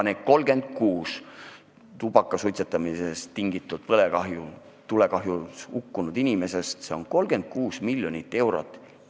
Need 36 tubaka suitsetamisest tingitud tulekahjus hukkunud inimest – see on 36 miljonit eurot.